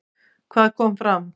Hvað kom fram?